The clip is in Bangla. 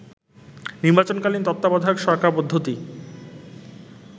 নির্বাচনকালীন তত্ত্বাবধায়ক সরকারপদ্ধতি